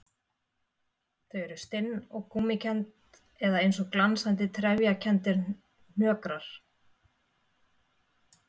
Þau eru stinn og gúmmíkennd eða eins og glansandi, trefjakenndir hnökrar.